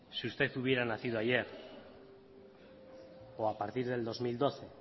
si usted hubiera nacido ayer o a partir del dos mil doce